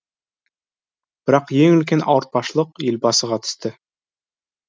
бірақ ең үлкен ауыртпашылық елбасыға түсті